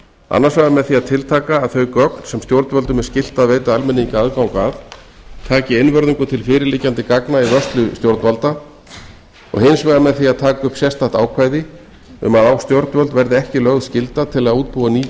annars vegar með að tiltaka að þau gögn sem stjórnvöldum er skylt að veita almenningi aðgang að taki einvörðungu til fyrirliggjandi gagna í vörslu stjórnvalda og hins vegar með því að taka upp sérstakt ákvæði um að á stjórnvöld verði ekki lögð skylda til að útbúa ný